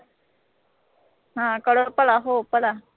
ਹਾਂ ਕਰੋ ਭਲਾ ਹੋ ਭਲਾ